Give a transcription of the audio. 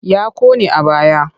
Ya ƙone a baya.